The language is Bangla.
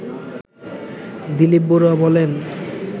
দিলীপ বড়ুয়া বলেন